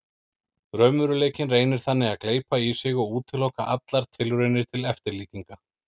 Raunveruleikinn reynir þannig að gleypa í sig og útiloka allar tilraunir til eftirlíkinga.